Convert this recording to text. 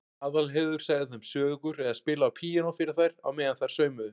Aðalheiður sagði þeim sögur eða spilaði á píanó fyrir þær á meðan þær saumuðu.